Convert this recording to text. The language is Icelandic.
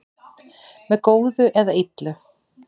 með góðu eða illu